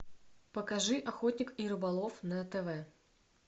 покажи охотник и рыболов на тв